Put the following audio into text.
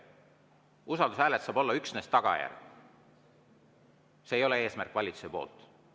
Usaldushääletus saab olla üksnes tagajärg, see ei ole valitsuse eesmärk.